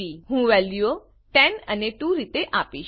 હું વેલ્યુઓ 10 અને 2 રીતે આપીશ